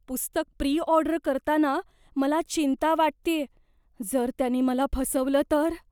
पुस्तक pre order करताना मला चिंता वाटतेय, जर त्यांनी मला फसवलं तर?